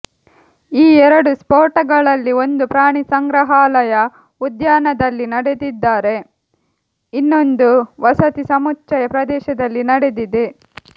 ಈ ಎರಡು ಸ್ಪೋಟಗಳಲ್ಲಿ ಒಂದು ಪ್ರಾಣಿ ಸಂಗ್ರಹಾಲಯ ಉದ್ಯಾನದಲ್ಲಿ ನಡೆದಿದ್ದರೆ ಇನ್ನೊಂದು ವಸತಿ ಸಮುಚ್ಛಯ ಪ್ರದೇಶದಲ್ಲಿ ನಡೆದಿದೆ